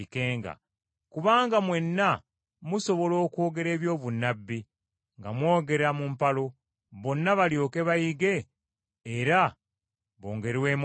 Kubanga mwenna musobola okwogera eby’obunnabbi nga mwogera mu mpalo, bonna balyoke bayige era bongerwemu amaanyi.